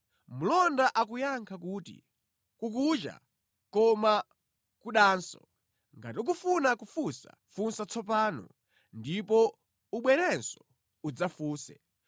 Mlonda akuyankha kuti, “Kukucha, koma kudanso. Ngati ukufuna kufunsa, funsa tsopano; ndipo ubwerenso udzafunse.”